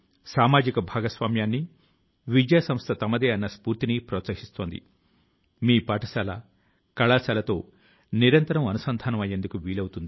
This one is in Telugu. మన ప్రాచీన గ్రంథాల కు సాంస్కృతిక విలువల కు భారతదేశం లోనే కాకుండా ప్రపంచం అంతటా ప్రాచుర్యం పొందేందుకు ఈ ప్రయత్నం